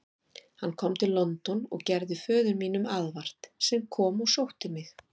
Hann kom til London og gerði föður mínum aðvart, sem kom og sótti mig.